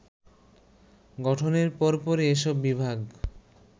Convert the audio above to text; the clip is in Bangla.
গঠনের পরপরই এসব বিভাগ